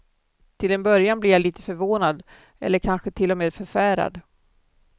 Till en början blir jag lite förvånad eller kanske till och med förfärad.